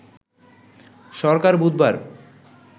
সরকার বুধবার